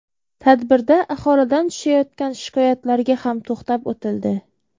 Tadbirda aholidan tushayotgan shikoyatlarga ham to‘xtab o‘tildi.